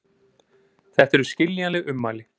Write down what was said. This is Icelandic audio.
Þetta eru skiljanleg ummæli